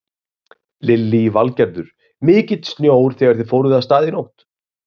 Lillý Valgerður: Mikill snjór þegar þið fóruð af stað í nótt?